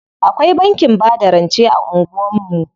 Akwai bankin bada rance a anguwan mu.